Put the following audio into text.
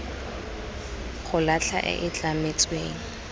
go latlha e e tlametsweng